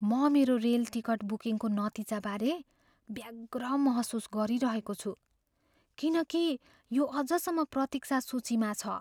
म मेरो rail ticket बुकिङको नतिजाबारे व्यग्र महसुस गरिरहेको छु किनकि यो अझसम्म प्रतीक्षा सूचीमा छ।